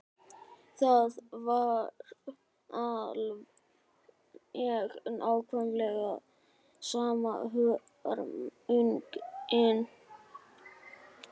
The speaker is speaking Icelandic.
Það var alveg nákvæmlega sama hörmungin.